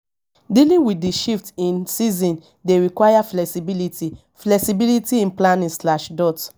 dealing with di shift in seasons dey require flexibility flexibility in planning slash dot